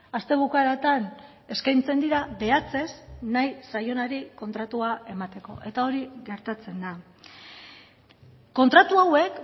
aste bukaeratan eskaintzen dira behatzez nahi zaionari kontratua emateko eta hori gertatzen da kontratu hauek